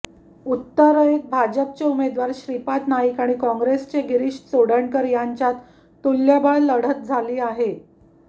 उत्तरेत भाजपचे उमेदवार श्रीपाद नाईक आणि काँग्रेसचे गिरीश चोडणकर यांच्यात तुल्यबळ लढत झाली आहे